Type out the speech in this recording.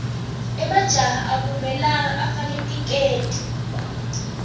emajaha akumelanga afake tiketi